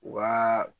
U ka